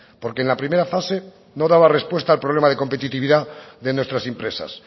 porque en la primera fase no daba respuesta al problema de competitividad de nuestras empresas